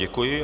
Děkuji.